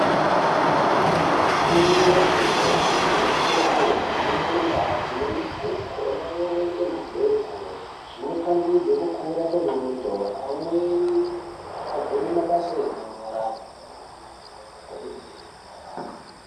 Vafundi vefundo yepiri vanokurudzirwa Kuhamba mundau dzine mabhuku overenga mabhuku zvinopangidza kukura kwengonzo amweni agone mabasa enyara kwemene.